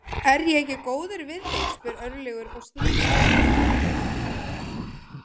Er ég ekki góður við þig, spyr Örlygur og strýkur henni um bakið.